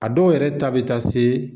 A dɔw yɛrɛ ta bɛ taa se